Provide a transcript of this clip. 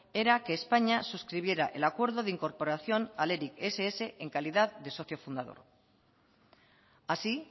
era que españa suscribiera el acuerdo de incorporación al eric ess en calidad de socio fundador así